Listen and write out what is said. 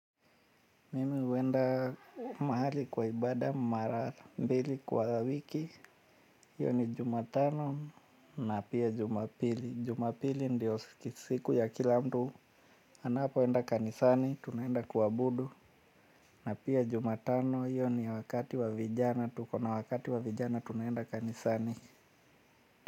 Mimi uenda mahali kwa ibada mara mbili kwa wiki. Iyo ni juma tano na pia jumapili. Jumapili ndio siku ya kila mtu anapoenda kanisani, tunaenda kuabudu. Na pia jumatano, iyo ni wakati wa vijana. Tuko na wakati wa vijana, tunaenda kanisani.